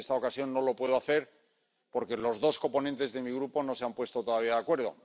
En esta ocasión no lo puedo hacer, porque los dos coponentes de mi Grupo no se han puesto todavía de acuerdo.